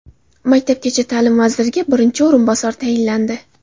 Maktabgacha ta’lim vaziriga birinchi o‘rinbosar tayinlandi.